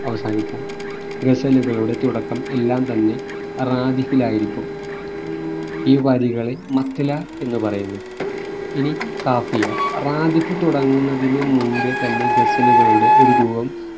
അവസാനിക്കാം ഗസലുകളുടെ തുടക്കം എല്ലാം തന്നെ റാദിഫിലായിരിക്കും ഈ വരികളെ മത്ല എന്ന് പറയുന്നു ഇനി കാഫിയ റാദിഫ് തുടങ്ങുന്നതിനു മുമ്പേ തന്നെ ഗസലുകളുടെ ഒരു രൂപം